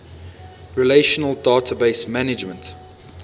relational database management